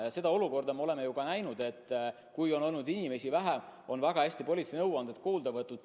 Ja me oleme sellistes olukordades näinud, et kui on inimesi vähem, on väga hästi politsei nõuandeid kuulda võetud.